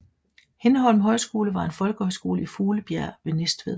Hindholm Højskole var en folkehøjskole i Fuglebjerg ved Næstved